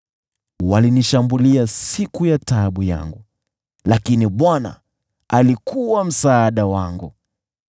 Walinikabili siku ya msiba wangu, lakini Bwana alikuwa msaada wangu.